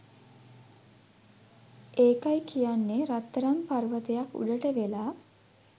ඒකයි කියන්නේ රත්තරන් පර්වතයක් උඩට වෙලා